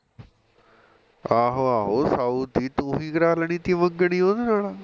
ਆਹੋ ਆਹੋ ਸਾਊ ਸੀ ਤੂੰ ਵੀ ਕਰਾਂ ਲੈਣੀ ਸੀ ਮੰਗਣੀ ਉਹਦੇ ਨਾਲ